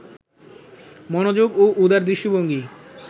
মনোযোগ ও উদার দৃষ্টিভঙ্গি